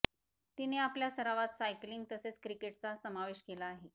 तिने आपल्या सरावात सायकलिंग तसेच क्रिकेटचा समावेश केला आहे